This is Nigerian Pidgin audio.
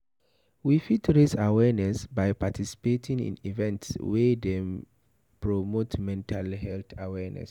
We fit raise awareness by participating in events wey dey promote mental health awareness